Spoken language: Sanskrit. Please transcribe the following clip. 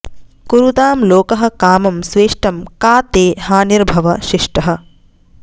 कुरुतां लोकः कामं स्वेष्टं का ते हानिर्भव शिष्टः